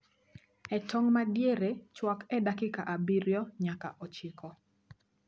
E tong' madiere, chwak e dakika abirio nyaka ochiko